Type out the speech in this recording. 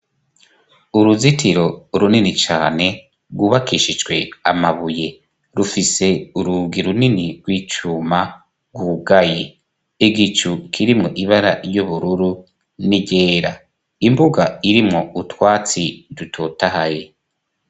Uruzitiro runini cane rwubakishijwe amabuye; rufise urugi runini rw'icuma rwugaye. Igicu kirimwo ibara ry'ubururu n'iryera. Imbuga irimwo utwatsi dutotahaye.